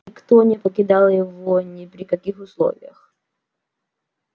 никто не покидал его ни при каких условиях